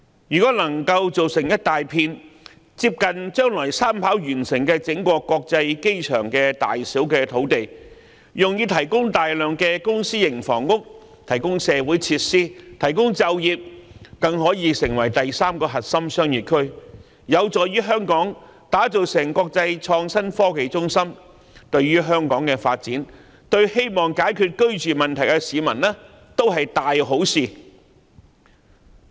如果能夠造出一大片接近將來三跑完成的整個香港國際機場大小的土地，用以提供大量公私營房屋、社會設施和就業，該處更可以成為第三個核心商業區，這有助打造香港成為國際創新科技中心，對香港的發展，對希望解決居住問題的市民，也是一大好事。